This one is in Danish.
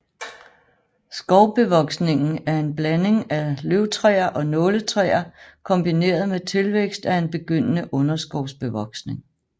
Skovbevoksningen er en blanding af løvtræer og nåletræer kombineret med tilvækst af en begyndende underskovsbevoksning